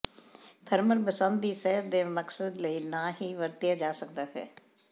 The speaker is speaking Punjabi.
ਥਰਮਲ ਬਸੰਤ ਦੀ ਸਿਹਤ ਦੇ ਮਕਸਦ ਲਈ ਨਾ ਹੀ ਵਰਤਿਆ ਜਾ ਸਕਦਾ ਹੈ